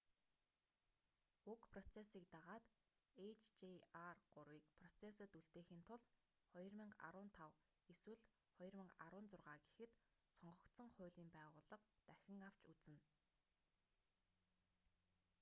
уг процессыг дагаад hjr-3-ийг процессод үлдээхийн тулд 2015 эсвэл 2016 гэхэд сонгогдсон хуулийн байгууллага дахин авч үзнэ